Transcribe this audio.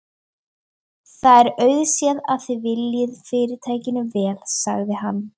AK: En þú veist að þið voruð að ljúga?